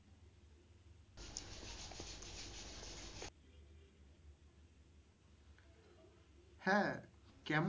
হ্যা কেমন?